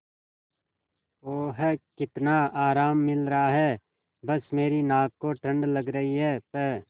ओह कितना आराम मिल रहा है बस मेरी नाक को ठंड लग रही है प्